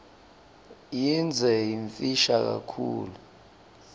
yindze yimfisha kakhulu